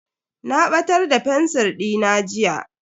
Na batar da fensir dina jiya.